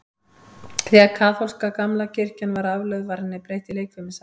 Þegar kaþólska kirkjan gamla var aflögð, var henni breytt í leikfimisal.